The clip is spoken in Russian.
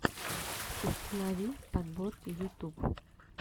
установи подборки ютюб